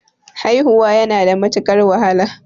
Haihuwa yana da matuqar wahala